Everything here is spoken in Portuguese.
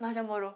Nós namorou.